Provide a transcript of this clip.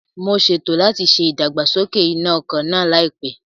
Mo ṣètò láti ṣe ìdàgbàsókè iná ọkọ̀ náà láìpẹ́